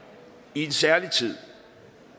i en særlig tid